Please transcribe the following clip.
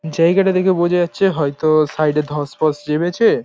জায়গাটা দেখে বোঝা যাচ্ছে হয়তো সাইড -এ ধস ফস নেমেছে-এ ।